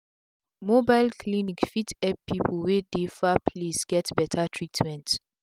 mobile clinic fit epp pipu wey dey far place get beta treatment